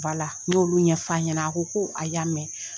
N y'olu ɲɛfɔ a ɲɛna a ko ko a y'a mɛn.